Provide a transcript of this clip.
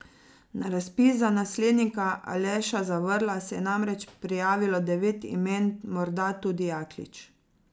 Na razpis za naslednika Aleša Zavrla se je namreč prijavilo devet imen, morda tudi Jaklič.